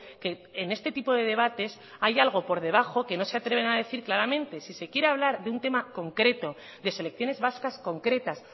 que en este tipo de debates hay algo por debajo que no se atreven a decir claramente si se quiere hablar de un tema concreto de selecciones vascas concretas